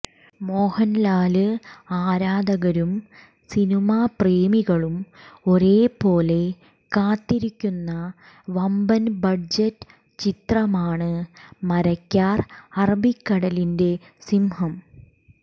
മോഹന്ലാല് ആരാധകരും സിനിമപ്രേമികളും ഒരേ പോലെ കാത്തിരിക്കുന്ന വമ്പന് ബഡ്ജറ്റ് ചിത്രമാണ് മരയ്ക്കാര് അറബിക്കടലിന്റെ സിംഹം